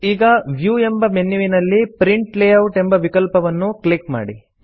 ಈಗ ವ್ಯೂ ಎಂಬ ಮೆನ್ಯುವಿನಲ್ಲಿ ಪ್ರಿಂಟ್ ಲೇಯೌಟ್ ಎಂಬ ವಿಕಲ್ಪವನ್ನು ಕ್ಲಿಕ್ ಮಾಡಿ